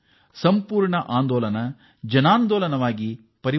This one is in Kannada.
ಇಡೀ ಆಂದೋಲನ ಈಗ ಜನಾಂದೋಲನವಾಗಿ ಮಾರ್ಪಟ್ಟಿದೆ